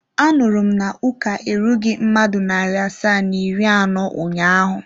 Anuru m na uka erughi mmadụ nari asaa na iri ano ụnyaahụ?